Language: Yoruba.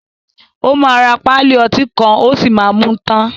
O ma rà pálí ọtí kan o sí má mú tán.